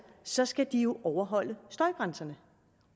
så skal de jo overholde støjgrænserne